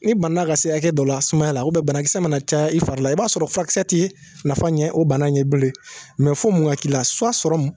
i bana ka se hakɛ dɔ la sumaya la banakisɛ mana caya i fari la i b'a sɔrɔ fyrakisɛ tɛ nafa ɲɛ o bana in ye bilen fo mun ka k'i la